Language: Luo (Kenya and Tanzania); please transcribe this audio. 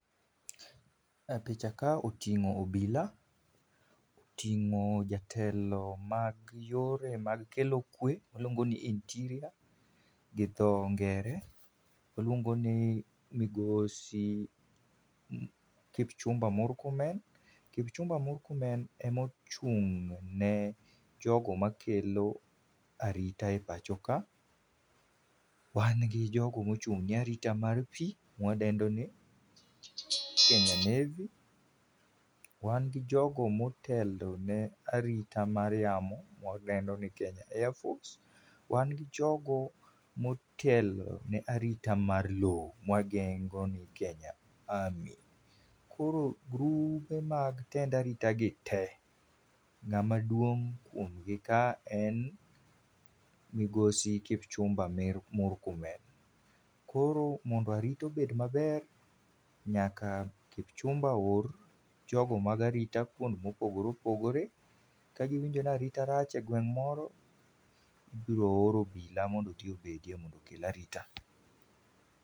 E picha ka otingó obila, otingó jatelo mag yore mag kelo kwe waluongo ni interior gi dho ngere, waluongo ni migosi Kipchumba Murkomen. Kipchumba Murkomen emochung' ne jogo makelo arita e pachoka. Wan gi jogo mochung'ne arita mar pi, mwadendoni Kenya Navy, wangi jogo motelone arita mar yamo mwadendoni Kenya Airforce, wan gi jogo motelone arita mar lowo mawadendoni Kenya Army koro grube mag tend arita gi te ngáma duong' kuomgi ka en Migosi Kipchumba Murkomen. Koro mondo arita obed maber nyaka kipchumba oor jogo mag arita kuonde mopogore opogore, kagiwinjo ni arita rach e gweng' moro ibiro or obila odhi obedie mondo okel arita